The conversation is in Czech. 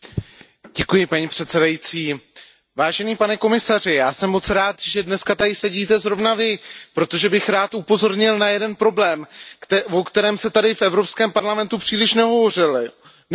Paní předsedající, pane komisaři, já jsem moc rád, že dnes tady sedíte zrovna Vy, protože bych rád upozornil na jeden problém, o kterém se tady v Evropském parlamentu příliš nehovořilo.